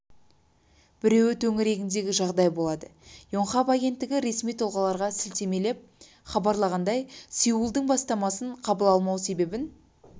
екі министрдің қысқа кездесуі манилада өтті онда қауіпсміздік бойынша өңірлік сессиясы ашылды және ондағы негізгі тақырыптың